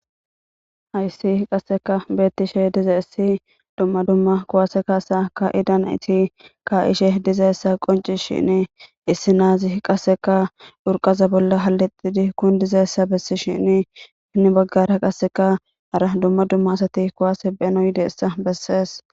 Hayssi qasseka beettishe diza issi dumma dumma kuwase kaasa ka idanaiti ka ishe dizaessa qonci shin issi naazi qasseka dhurqaza bolla hallixidi kun dizaessa bessi shin ni baggara qasseka ara dumma dumma asati kuwase beno yideessa bessees.